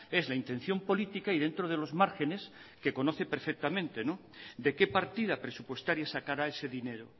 es la intención política y dentro de los márgenes que conoce perfectamente de qué partida presupuestaria sacará ese dinero